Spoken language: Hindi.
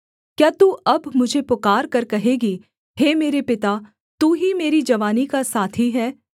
क्या तू अब मुझे पुकारकर कहेगी हे मेरे पिता तू ही मेरी जवानी का साथी है